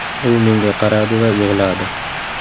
U menga qaradi va yig‘ladi.